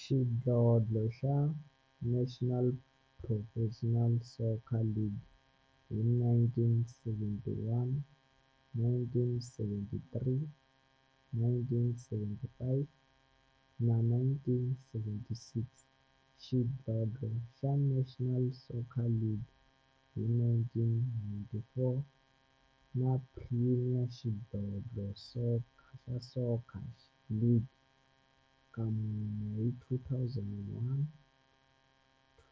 Xidlodlo xa National Professional Soccer League hi 1971, 1973, 1975 na 1976, xidlodlo xa National Soccer League hi 1994, na Premier Xidlodlo xa Soccer League ka mune, hi 2001,